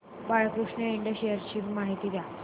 Balkrishna Ind shares ची माहिती द्या